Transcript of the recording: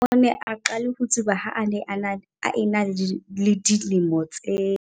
O ne a qale ho tsuba ha a ne a ena le dilemo tse.